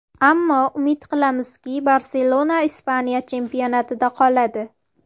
Ammo umid qilamizki, ‘Barselona’ Ispaniya chempionatida qoladi.